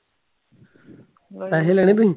ਪੈਹੇ ਲੈਣੇ ਤੂੰ?